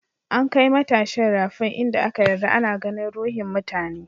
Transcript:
An kai matashin rafin in da aka yarda ana ganin ruhin mutane.